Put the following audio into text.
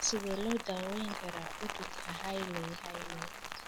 Sidee loo daweyn karaa cudurka Hailey Hailey?